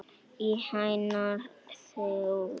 Í hennar þágu.